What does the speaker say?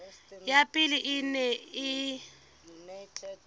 ya pele e neng e